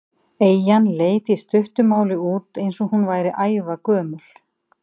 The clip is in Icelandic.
Eyjan leit í stuttu máli út eins og hún væri ævagömul.